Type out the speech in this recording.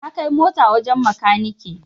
Na kai mota wajen makani